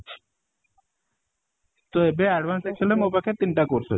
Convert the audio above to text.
ତ ଏବେ advance excel ର ମୋ ପାଖରେ ତିନି ଟା course ଅଛି